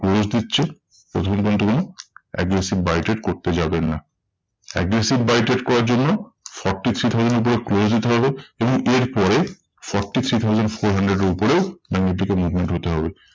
Close দিচ্ছে ততক্ষন কিন্তু কোনো aggressive buy trade করতে যাবেন না। aggressive buy trade করার জন্য forty three thousand এর উপরে close দিতে হবে। এবং এর পরে forty three thousand four hundred এর উপরে ব্যাঙ্ক নিফটিকে movement হতে হবে।